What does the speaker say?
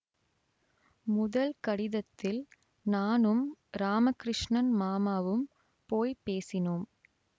முதல் கடிதத்தில் நானும் இராம கிருஷ்ணன் மாமாவும் போய் பேசினோம்